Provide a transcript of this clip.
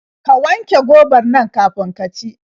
Ka wanke gobar nan kafin ki ci.